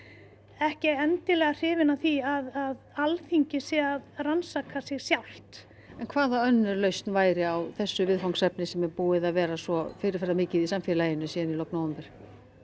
ekki endilega hrifin af því að Alþingi sé að rannsaka sig sjálft en hvaða önnur lausn væri á þessu viðfangsefni sem er búið að vera svo fyrirferðarmikið í samfélaginu síðan í lok nóvember